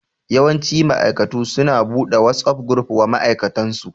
Yawanci ma'aikatu su na buɗe WhatsApp gruf wa ma'aikatansu